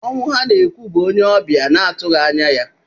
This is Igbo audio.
Ọnwụ ha na-ekwu, bụ onye ọbịa na-atụghị anya ya.